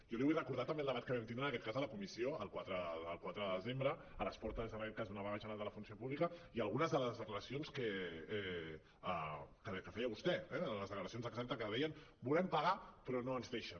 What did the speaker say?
jo li vull recordar també el debat que vam tindre en aquest cas a la comissió el quatre de desembre a les portes en aquell cas d’una vaga general de la funció pública i algunes de les declaracions que feia vostè eh de les declaracions exactes que deien volem pagar però no ens deixen